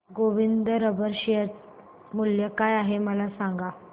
Govind Rubber share मूल्य काय आहे मला सांगा